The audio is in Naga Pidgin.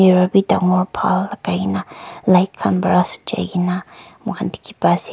mirror bi dagor bal lagai kena light khan para kena moi khan dikhi pa ase.